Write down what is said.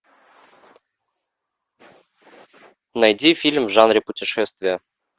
найди фильм в жанре путешествия